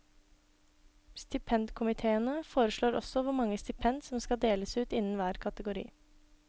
Stipendkomiteene foreslår også hvor mange stipend som skal deles ut innen hver kategori.